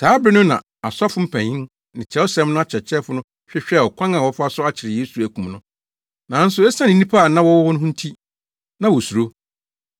Saa bere no na asɔfo mpanyin ne Kyerɛwsɛm no akyerɛkyerɛfo no hwehwɛɛ ɔkwan a wɔbɛfa so akyere Yesu akum no, nanso esiane nnipa a na wɔwɔ hɔ no nti, na wosuro.